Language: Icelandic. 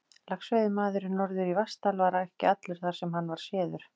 Laxveiðimaðurinn norður í Vatnsdal var ekki allur þar, sem hann var séður.